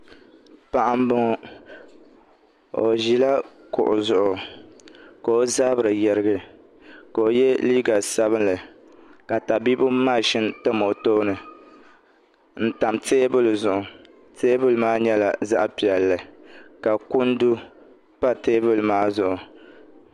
Paɣa n boŋo o ʒila kuɣu zuɣu ka o zabiri yirigi ka o yɛ liiga sabinli ka tabiibu maʒini tam o tooni n tam teebuli zuɣu teebuli maa nyɛla zaɣ piɛlli ka kundu pa teebuli maa zuɣu